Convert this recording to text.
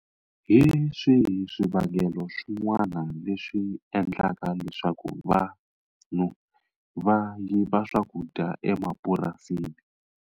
Hi swihi swivangelo swin'wana leswi endlaka leswaku vanhu va yiva swakudya emapurasini.